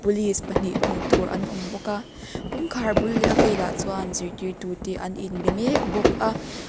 police pahnih hmuh tur an awm bawk a kawngkhar bul leh a velah chuan zirtirtu te an inbe mek bawk a.